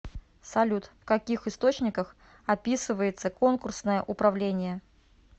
салют в каких источниках описывается конкурсное управление